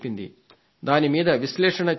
దాని మీద విశ్లేషణ చెప్పింది